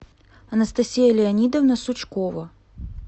анастасия леонидовна сучкова